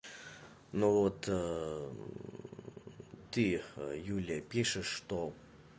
ну вот ты юлия пишешь что